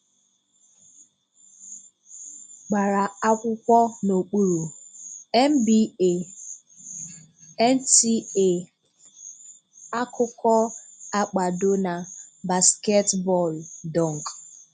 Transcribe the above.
Gbara akwụkwọ N'okpuru: NBA, Nta akụkọkwo Akpado Na: basketibọọlụ, dunk